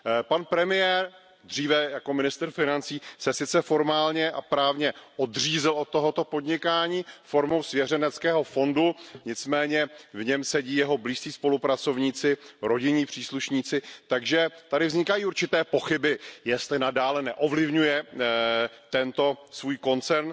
Pan premiér, dříve jako ministr financí, se sice formálně a právně odřízl od tohoto podnikání formou svěřeneckého fondu, nicméně v něm sedí jeho blízcí spolupracovníci, rodinní příslušníci, takže tady vznikají určité pochyby, jestli nadále neovlivňuje tento svůj koncern.